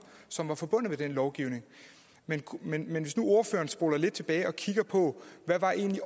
som er forbundet med den lovgivning men men hvis nu ordføreren spoler lidt tilbage og kigger på hvad der egentlig